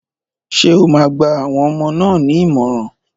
Ṣé o máa gba àwọn ọmọ náà ní ìmọ̀ràn?